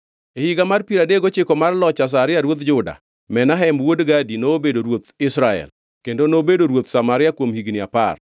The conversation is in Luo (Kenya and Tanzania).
E higa mar piero adek gochiko mar loch Azaria ruodh Juda, Menahem wuod Gadi nobedo ruoth Israel, kendo nobedo ruoth Samaria kuom higni apar.